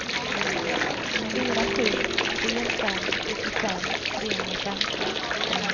fyra sju tre fem sjuttiofem trehundrafemton